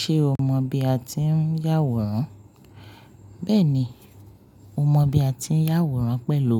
Ṣé o mọ bí a ti ń yàwòrán? Bẹ́ẹ̀ni, mo mọ bí a ti ń yàwòrán pẹ̀lú